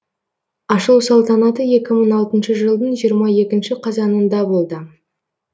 ашылу салтанаты екі мың алтыншы жылдың жиырма екінші қазанында болды